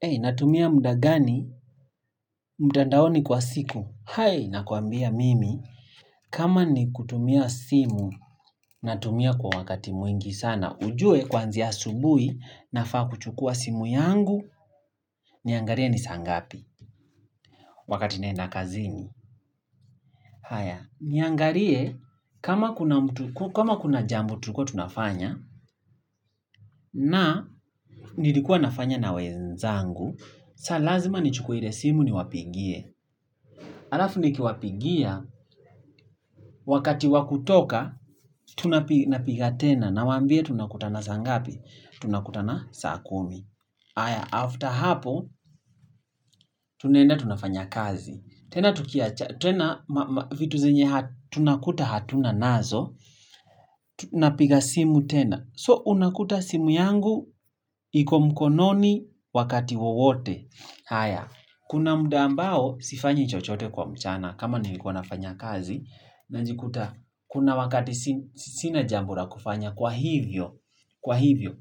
Ehi, natumia muda gani, mtandaoni kwa siku, hai, nakuambia mimi, kama ni kutumia simu, natumia kwa wakati mwingi sana, ujue kwanzia asubuhi, nafaa kuchukua simu yangu, niangalie ni saa ngapi, wakati naenda kazini, haya, niangalie kama kuna jambo tulikuwa tunafanya. Na, nilikuwa nafanya na wenzangu, saa lazima nichukue ile simu ni wapigie. Alafu nikiwapigia, wakati wakutoka, napiga tena, nawambia tunakutana saa ngapi. Tunakutana saa kumi. Haya, after hapo, tunenda tunafanya kazi. Tena tukiachana vitu zenye tunakuta hatuna nazo, napiga simu tena. So, unakuta simu yangu iko mkononi wakati wowote. Haya, kuna muda ambao sifanyi chochote kwa mchana. Kama na nilikuwa nafanya kazi najikuta kuna wakati sina jambu la kufanya kwa hivyo